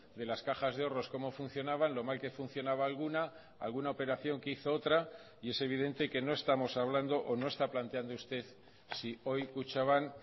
de las cajas de ahorros cómo funcionaban lo mal que funcionaba alguna alguna operación que hizo otra y es evidente que no estamos hablando o no está planteando usted si hoy kutxabank